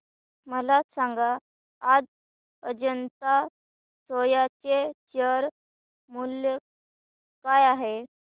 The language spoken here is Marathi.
मला सांगा आज अजंता सोया चे शेअर मूल्य काय आहे